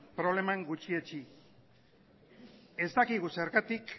problema gutxietsi ez dakigu zergatik